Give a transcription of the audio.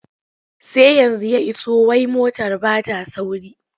Sai yanzu ya iso wai motar ba ta sauri.